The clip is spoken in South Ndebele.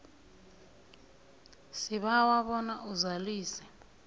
sibawa bona uzalise